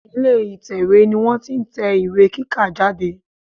Ilè ìtẹ̀wé ni wọ́n ti n tẹ ìwé kíkà jáde